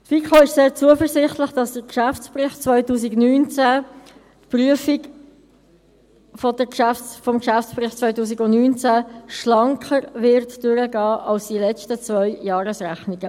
Die FiKo ist sehr zuversichtlich, dass mit Blick auf den Geschäftsbericht 2019 die Prüfung schlanker durchgehen wird, als bei den letzten zwei Jahresrechnungen.